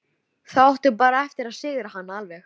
Þá áttu bara eftir að sigra hana alveg.